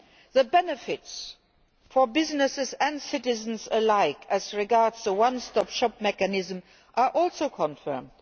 The benefits for businesses and citizens alike, as regards the one stop shop mechanism, are also confirmed.